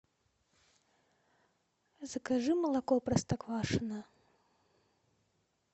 закажи молоко простоквашино